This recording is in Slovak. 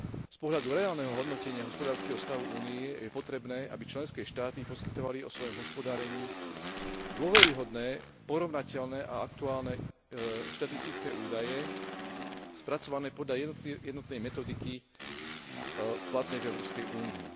Z pohľadu reálneho hodnotenia hospodárskeho stavu Únie je potrebné, aby členské štáty poskytovali o svojom hospodárení dôveryhodné, porovnateľné a aktuálne štatistické údaje spracované podľa jednotnej metodiky platnej v Európskej únii.